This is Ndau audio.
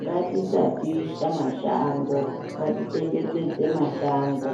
ngatisapisa mashango ngatichengetedze mashango.